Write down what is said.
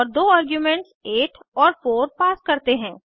और दो आर्ग्यूमेंट्स 8 और 4 पास करते हैं